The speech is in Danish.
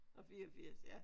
Og 84 ja